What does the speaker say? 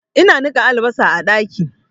Ina niƙa albasan a ɗaki